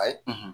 Ayi